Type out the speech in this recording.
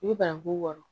I bɛ bananku wɔɔrɔ